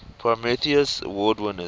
prometheus award winners